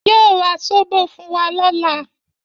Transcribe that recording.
Yóò ra Zóbò fún wa lọ́la.